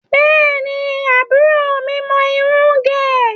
Bẹ́ẹ̀ni, àbúrò mi mọ irun ń gẹ̀.